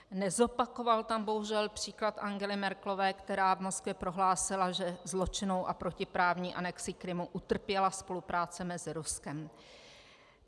Nezopakoval tam bohužel příklad Angely Merkelové, která v Moskvě prohlásila, že zločinnou a protiprávní anexí Krymu utrpěla spolupráce mezi Ruskem.